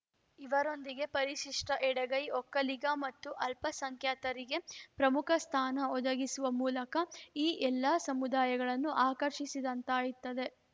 ಇವರೊಂದಿಗೆ ಪರಿಶಿಷ್ಟಎಡಗೈ ಒಕ್ಕಲಿಗ ಮತ್ತು ಅಲ್ಪಸಂಖ್ಯಾತರಿಗೆ ಪ್ರಮುಖ ಸ್ಥಾನ ಒದಗಿಸುವ ಮೂಲಕ ಈ ಎಲ್ಲಾ ಸಮುದಾಯಗಳನ್ನು ಆಕರ್ಷಿಸಿದಂತಾಗುತ್ತದೆ